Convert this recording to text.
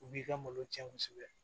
U b'i ka malo tiɲɛ kosɛbɛ